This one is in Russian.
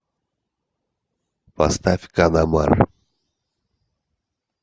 поставь канамар